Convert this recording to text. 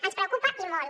ens preocupa i molt